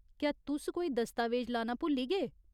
क्या तुस कोई दस्तावेज लाना भुल्ली गे ?